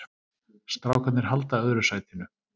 Strákarnir halda öðru sætinu